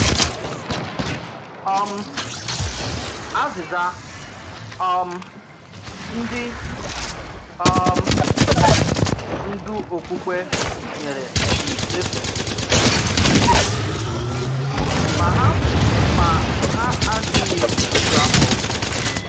um Ázị̀zà um ndí̀ um ndú ọ̀kpùkpè nyerè dị̀ èfù, mà hà mà hà àdíghị èjù áfọ̀.